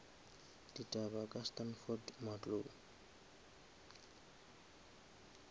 ditaba ka standford matlou